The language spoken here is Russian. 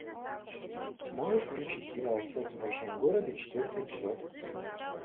можешь включить сериал секс в большом городе четвертый эпизод